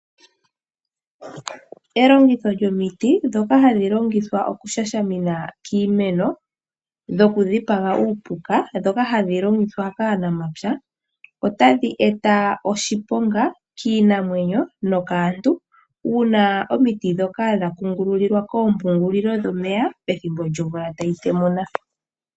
Elongitho lyomiti ndoka hali longithwa okushashamina kiimeno dhokudhipaga uupuka dhoka hadhi longithwa kaanamapya otadhi eta oshiponga kiinamwenyo nokaantu ,uuna omiti dhoka kungululiwa koompungulilo dhomeya pethimbo lyomvula tayi temuna .